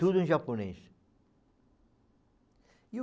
Tudo em japonês. E o